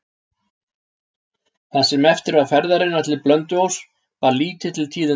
Það sem eftir var ferðarinnar til Blönduóss bar lítið til tíðinda.